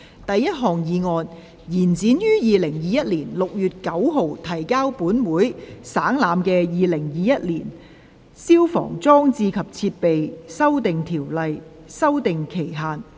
第一項議案：延展於2021年6月9日提交本會省覽的《2021年消防規例》的修訂期限。